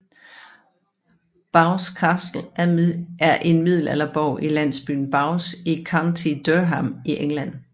Bowes Castle er en middelalderborg i landsbyen Bowes i County Durham i England